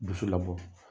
Bosu labɔ